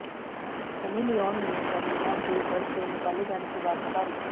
Sunny Leone ने सेलिना के घर से निकाले जाने की बात नकारी